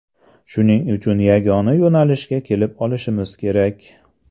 Shuning uchun yagona yo‘nalishga kelib olishimiz kerak.